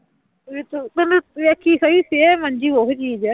ਵੀ ਤੂੰ ਤੂੰ ਵੇਖੀ ਸਹੀ same ਅੰਜੂ ਉਹੀ ਚੀਜ਼ ਹੈ